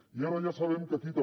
i ara ja sabem que aquí també